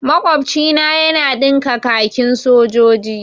Makwabcina yana ɗinka kakin sojoji.